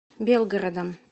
белгородом